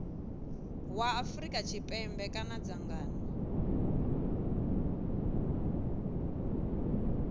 wa afrika tshipembe kana dzangano